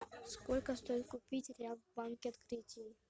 сколько стоит купить реал в банке открытие